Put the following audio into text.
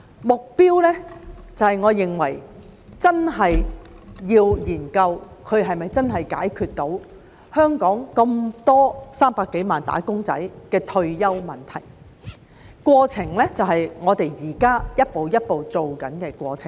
目標方面，我認為真的要研究它是否真的能解決香港300多萬名"打工仔"的退休問題；至於過程，便是我們現在一步一步正在做的過程。